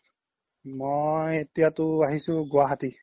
মই এতিয়াতো আহিছো গুৱাহাতি